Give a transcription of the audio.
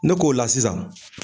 Ne k'o la sisan.